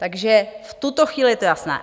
Takže v tuto chvíli je to jasné.